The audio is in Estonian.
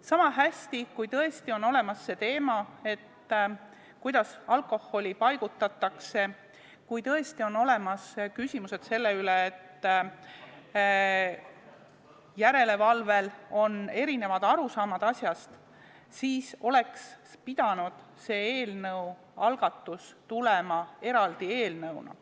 Niisamuti kui tõesti on olemas see teema, kuidas alkoholi paigutatakse, kui tõesti on olemas küsimused sellega, et järelevalvel on erinevad arusaamad asjast, oleks pidanud see algatus tulema eraldi eelnõuna